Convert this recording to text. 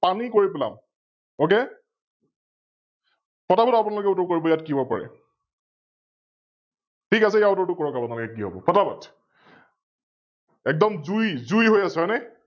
পানি কৰি পেলাম, Ok ফটা ফট আপোনালোকে উত্তৰ কৰিব ইয়াত কি হব পাৰে? ঠিক আছে, ইয়াৰ উত্তৰটো কৰক আপোনালোকে কি হব? ফটা ফট একদম জুই, জুই হৈ আছে হয় নে?